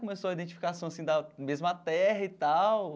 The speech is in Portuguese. Começou a identificação, assim, da mesma terra e tal.